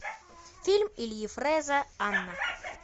фильм ильи фреза анна